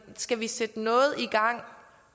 skal sætte noget i gang